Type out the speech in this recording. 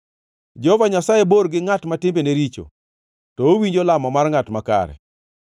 Jehova Nyasaye bor gi ngʼat ma timbene richo, to owinjo lamo mar ngʼat makare.